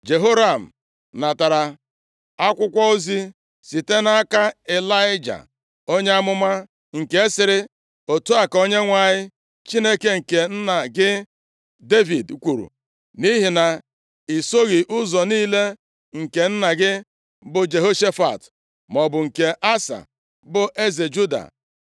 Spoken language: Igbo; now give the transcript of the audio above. Jehoram natara akwụkwọ ozi site nʼaka Ịlaịja onye amụma, nke sịrị: “Otu a ka Onyenwe anyị Chineke nke nna gị Devid, kwuru, ‘Nʼihi na i soghị ụzọ niile nke nna gị, bụ Jehoshafat, maọbụ nke Asa bụ eze Juda,